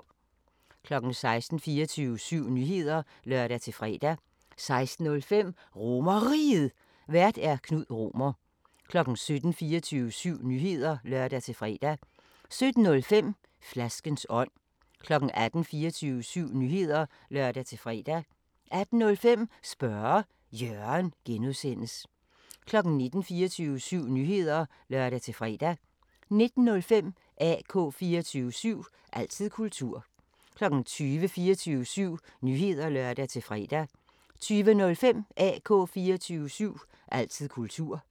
16:00: 24syv Nyheder (lør-fre) 16:05: RomerRiget, Vært: Knud Romer 17:00: 24syv Nyheder (lør-fre) 17:05: Flaskens ånd 18:00: 24syv Nyheder (lør-fre) 18:05: Spørge Jørgen (G) 19:00: 24syv Nyheder (lør-fre) 19:05: AK 24syv – altid kultur 20:00: 24syv Nyheder (lør-fre) 20:05: AK 24syv – altid kultur